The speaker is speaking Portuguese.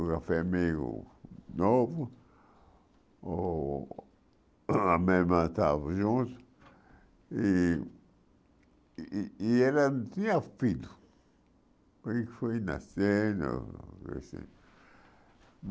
o café meio novo, ou a minha irmã tava junto, e e ela tinha filho, porque foi nascendo. Esse